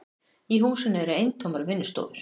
Í húsinu eru eintómar vinnustofur.